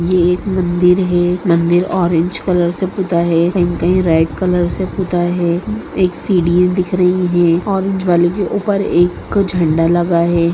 यह एक मंदिर है मंदिर ऑरेंज कलर से पूता है कहीं रेड कलर से पूता है एक सीडी दिख रही है ऑरेंज वाले के ऊपर एक झंडा लगा है।